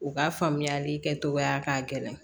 U ka faamuyali kɛ cogoya k'a gɛlɛn